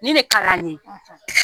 Ni ne kalan ye;